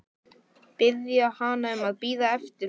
Biðja hana um að bíða eftir honum.